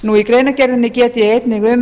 í greinargerðinni get ég einnig um